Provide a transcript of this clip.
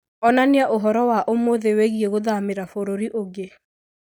onania ũhoro wa ũmũthĩ wĩgiĩ gũthamĩra bũrũri ũngĩ